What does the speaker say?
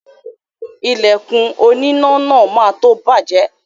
Ìlẹ̀kùn oníná náà má tó bàjẹ́